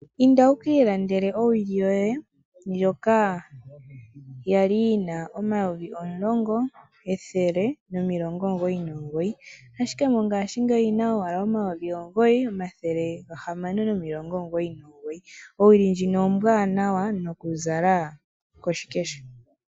Inda wukiilandele owili yoye ndjoka yali yina omayovi omulongo ethele nomilongo omugoyi nomugoyi, ashike mongashingeyi oyina owala omayovi omugoyi omathele ga hamano omilongo omugoyi nomugoyi. Owili ndjino ombwanawa noku zala koshikesho.